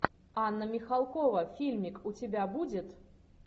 анна михалкова фильмик у тебя будет